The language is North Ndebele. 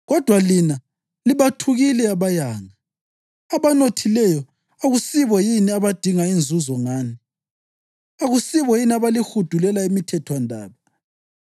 Kodwa lina libathukile abayanga. Abanothileyo akusibo yini abadinga inzuzo ngani? Akusibo yini abalihudulela emithethwandaba?